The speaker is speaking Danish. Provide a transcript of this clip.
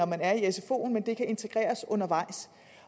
man er i sfoen men at det kan integreres undervejs